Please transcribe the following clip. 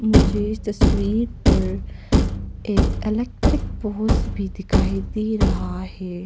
मुझे इस तस्वीर पर एक इलेक्ट्रिक भी दिखाई दे रहा है।